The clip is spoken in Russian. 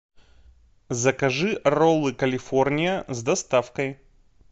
закажи роллы калифорния с доставкой